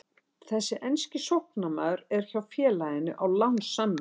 Þessi enski sóknarmaður er hjá félaginu á lánssamningi.